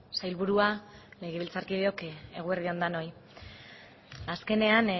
sailburua legebiltzarkideok eguerdi on denoi azkenean